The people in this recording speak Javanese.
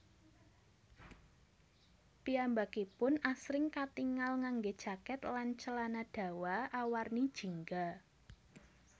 Piyambakipun asring katingal nganggé jaket lan celana dawa awarni jingga